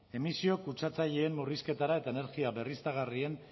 emisio kutsatzaileen murrizketara eta energia berriztagarrien